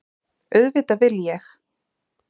Auðvitað vil ég!